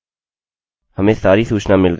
line 5 यहाँ पर है